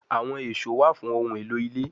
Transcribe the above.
Awọn eso wa fun ohun elo ile